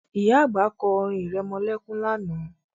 Ìyá àgbà kọ́ orin irẹmọlẹ́kún lánàá